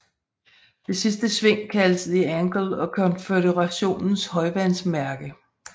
Det sidste sving kaldes The Angle og Konføderationens højvandsmærke